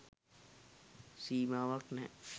සීමාවක්‌ නෑ.